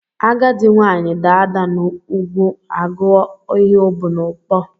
Agadi nwaanyị daa ada n'ugwu agụ ọ ihe o bu n'abọ